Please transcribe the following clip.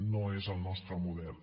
no és el nostre model